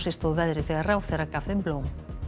stóð veðrið þegar ráðherra gaf þeim blóm